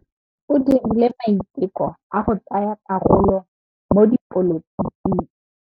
O dirile maitekô a go tsaya karolo mo dipolotiking.